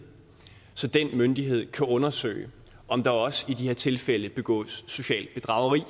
så den myndighed kan undersøge om der også i de her tilfælde begås socialt bedrageri